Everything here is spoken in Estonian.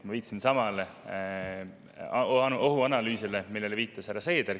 Ma viitasin samale ohuanalüüsile, millele viitas härra Seeder.